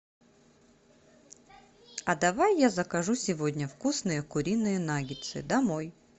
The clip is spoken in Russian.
а давай я закажу сегодня вкусные куриные наггетсы домой